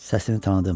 Səsini tanıdım.